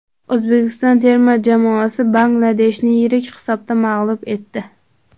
O‘zbekiston terma jamoasi Bangladeshni yirik hisobda mag‘lub etdi.